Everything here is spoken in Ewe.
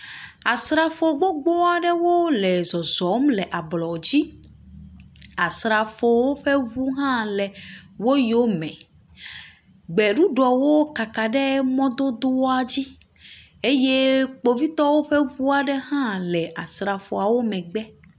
Asrafo gbogbo aɖewo zɔzɔm le ablɔ dzi. Asrafowo ƒe ŋu hã le wo yome. Gbeɖuɖɔwo kaka ɖe mɔdodoa dzi eye kpovitɔwo ƒe ŋu aɖe hã le asrafoawo megbe.